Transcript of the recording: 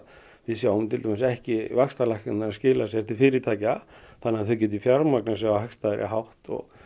við sjáum ekki vaxtalækkanir skila sér til fyrirtækja þannig þau geti fjármagnað sig á hagstæðari hátt